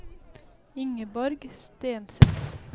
Ingeborg Stenseth